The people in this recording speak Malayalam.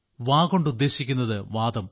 വ കൊണ്ട് ഉദ്ദേശിക്കുന്നത് വാതം